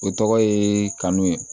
O tɔgɔ ye kanu ye